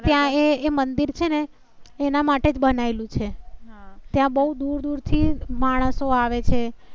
ત્યાં એ મંદિર છે ને એના માટે જ બનાયેલુ છે. હમ ત્યાં બહુ દુર દુર થી માણસો આવે છે.